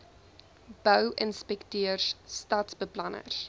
bou inspekteurs stadsbeplanners